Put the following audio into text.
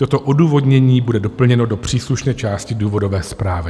Toto odůvodnění bude doplněno do příslušné části důvodové zprávy.